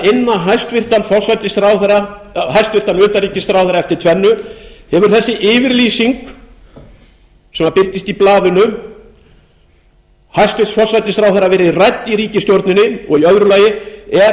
forseti að inna hæstvirtan utanríkisráðherra eftir tvennu hefur þessi yfirlýsing sem birtist í blaðinu hæstvirtur forsætisráðherra verið rædd í ríkisstjórninni og í öðru lagi er